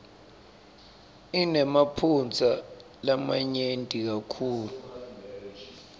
inemaphutsa lamanyenti kakhulu